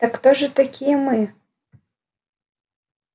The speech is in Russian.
так кто же такие мы